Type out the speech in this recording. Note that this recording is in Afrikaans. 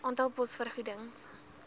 aantal pos vergoedings